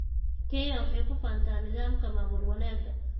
Kenya waxay ku faantaa nidaamka maamul wanaagga.